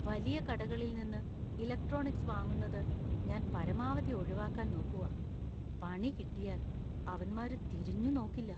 വലിയ കടകളിൽ നിന്ന് ഇലക്ട്രോണിക്സ് വാങ്ങുന്നത് ഞാൻ പരമാവധി ഒഴിവാക്കാൻ നോക്കുവാ. പണികിട്ടിയാല്‍ അവന്മാര് തിരിഞ്ഞുനോക്കില്ല.